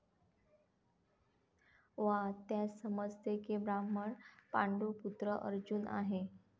वा त्यास समजते की ब्राह्मण पांडूपुत्र अर्जुन आहे.